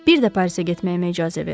Bir də Parisə getməyimə icazə verin.